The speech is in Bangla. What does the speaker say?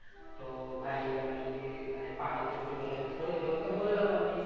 তো ভাই আমি যদি মানে পারি তো একটু help করে দে ওকে বললাম আমি